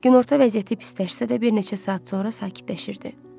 Günorta vəziyyəti pisləşsə də, bir neçə saat sonra sakitləşirdi.